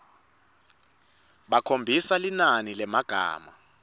bakhombise linani lemagama